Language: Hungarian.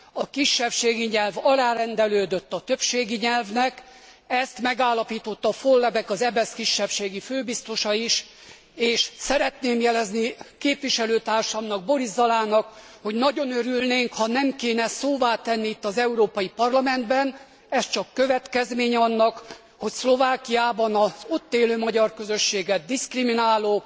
A kisebbségi nyelv alárendelődött a többségi nyelvnek, ezt megállapította Vollebaeck, az EBESZ kisebbségi főbiztosa is, és szeretném jelezni képviselőtársamnak, Boris Zalanak, hogy nagyon örülnénk, ha nem kéne szóvá tenni itt, az Európai Parlamentben, ez csak következménye annak, hogy Szlovákiában az ott élő magyar közösséget diszkrimináló,